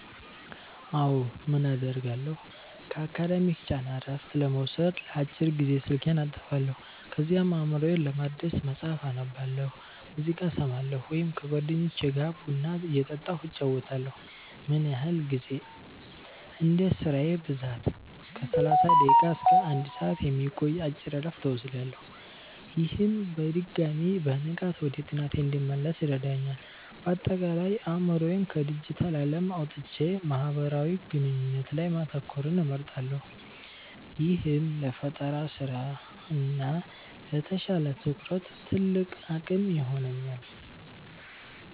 አዎ, ምን አደርጋለሁ? ከአካዳሚክ ጫና እረፍት ለመውሰድ ለአጭር ጊዜ ስልኬን አጠፋለሁ። ከዚያም አእምሮዬን ለማደስ መጽሐፍ አነባለሁ፣ ሙዚቃ እሰማለሁ ወይም ከጓደኞቼ ጋር ቡና እየጠጣሁ እጨዋወታለሁ። ምን ያህል ጊዜ? እንደ ስራዬ ብዛት ከ30 ደቂቃ እስከ 1 ሰዓት የሚቆይ አጭር እረፍት እወስዳለሁ። ይህም በድጋሚ በንቃት ወደ ጥናቴ እንድመለስ ይረዳኛል። ባጠቃላይ፦ አእምሮዬን ከዲጂታል ዓለም አውጥቼ ማህበራዊ ግንኙነት ላይ ማተኮርን እመርጣለሁ፤ ይህም ለፈጠራ ስራ እና ለተሻለ ትኩረት ትልቅ አቅም ይሆነኛል።